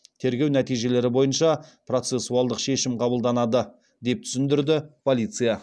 тергеу нәтижелері бойынша процессуалдық шешім қабылданады деп түсіндірді полиция